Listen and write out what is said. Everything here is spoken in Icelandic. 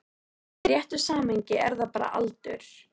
En í réttu samhengi er það bara aldur.